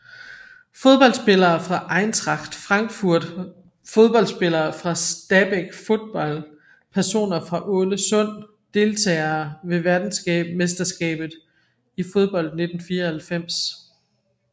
Fodboldspillere fra Eintracht Frankfurt Fodboldspillere fra Stabæk Fotball Personer fra Ålesund Deltagere ved verdensmesterskabet i fodbold 1994